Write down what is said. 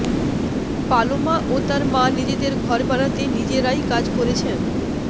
Paloma ও তার মা নিজেদের ঘর বানাতে নিজেরাই কাজ করেছেন